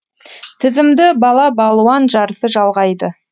тізімді бала балуан жарысы жалғайды